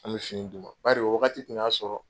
An bɛ fini d'u ma. Bari o wagati tun y'a sɔrɔ